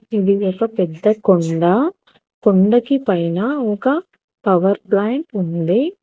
ఇది ఒక పెద్ద కొండ కొండకి పైన ఒక పవర్ ప్లాంట్ ఉంది.